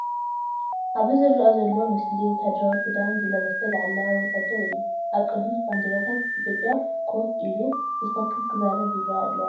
ኣብዚ ዝረአ ዘሎ ምስሊ ወተሃደራዊ ክዳን ዝለበሰ ላዕለዋይ ወተሃደር እዩ። ኣብ ቅድሚ ባንዴራታት ኢትዮጵያ ኮፍ ኢሉ ብትኽክል ክዛረብ ይርአ ኣለዋ።